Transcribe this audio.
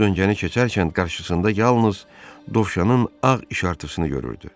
O döncəni keçərkən qarşısında yalnız dovşanın ağ işartısını görürdü.